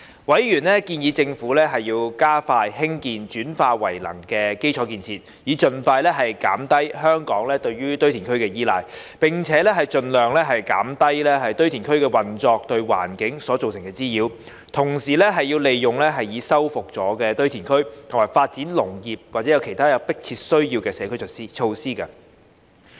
委員建議政府加快興建轉廢為能基礎設施，以盡快減低香港對堆填的依賴，並盡量減低堆填區運作對環境造成的滋擾；同時利用已修復堆填區發展農業和其他有迫切需要的社區設施。